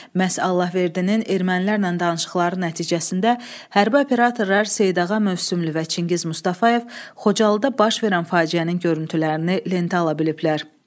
Məhz Allahverdinin ermənilərlə danışıqları nəticəsində hərbi operatorlar Seydağa Mövsümlü və Çingiz Mustafayev Xocalıda baş verən faciənin görüntülərini lentə ala biliblər.